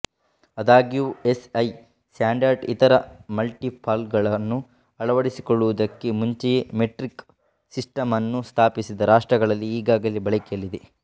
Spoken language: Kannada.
ಆದಾಗ್ಯೂ ಎಸ್ಐ ಸ್ಟ್ಯಾಂಡರ್ಡ್ ಇತರ ಮಲ್ಟಿಪಲ್ಗಳನ್ನು ಅಳವಡಿಸಿಕೊಳ್ಳುವುದಕ್ಕೆ ಮುಂಚೆಯೇ ಮೆಟ್ರಿಕ್ ಸಿಸ್ಟಮ್ ಅನ್ನು ಸ್ಥಾಪಿಸಿದ ರಾಷ್ಟ್ರಗಳಲ್ಲಿ ಈಗಾಗಲೇ ಬಳಕೆಯಲ್ಲಿದೆ